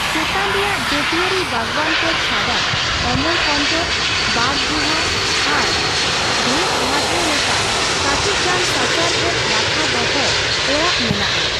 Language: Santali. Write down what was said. ᱪᱮᱛᱟᱱ ᱨᱮᱭᱟᱜ ᱡᱟᱹᱛᱤᱭᱟᱹᱨᱤ ᱵᱟᱜᱽᱣᱟᱱ ᱠᱚ ᱪᱷᱟᱰᱟ ᱚᱢᱚᱨᱠᱚᱱᱴᱚᱠ, ᱵᱟᱜᱽ ᱜᱩᱦᱟ ᱟᱨ ᱵᱷᱮᱛᱜᱷᱟᱴᱮᱨ ᱞᱮᱠᱟ ᱠᱟᱴᱤᱪᱜᱟᱱ ᱥᱟᱪᱟᱨᱦᱮᱫ ᱨᱟᱠᱷᱟ ᱫᱚᱦᱚ ᱚᱲᱟᱜ ᱢᱮᱱᱟᱜ ᱟ ᱾